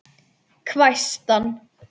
hvæsti hann.